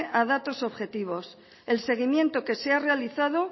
a datos objetivos el seguimiento que se ha realizado